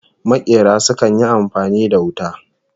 Makera sukan yi amfani da wuta